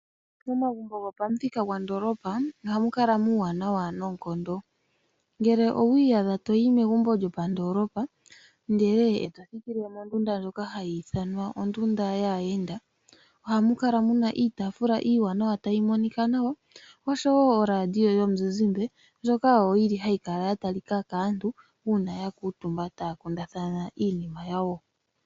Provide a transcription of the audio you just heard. Momagumbo gopamuthika gondoolopa ohamu kala muuwanawa noonkondo, ngele owa iyadha toyi megumbo lyopandoolopa, ndele eto thikile mondunda ndjoka hayi ithanwa ondunda yaayenda, ohamu kala muna iitaafula iiwanawa tayi monika nawa, oshowo orandio yomuzizimba, ndjoka yo yili hayi kala ya talika kaantu uuna ya kuutumba taya kundathana iinima yawo.